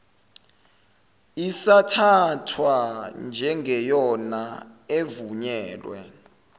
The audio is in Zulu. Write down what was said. isathathwa njengeyona evunyelwe